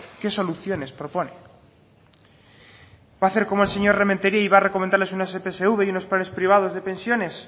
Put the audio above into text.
qué soluciones propone va a hacer como el señor rementeria y va a recomendarles una epsv y unos planes privados de pensiones